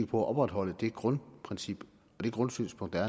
på at opretholde det grundprincip og grundsynspunkt